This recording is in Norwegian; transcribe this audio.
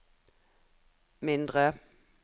mindre